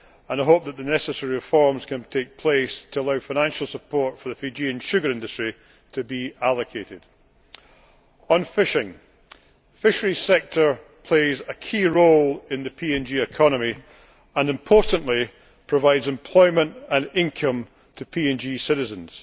I hope that the necessary reforms can take place to allow financial support for the Fijian sugar industry to be allocated. On fishing, the fisheries sector plays a key role in Papua New Guinea's economy and importantly provides employment and income to its citizens.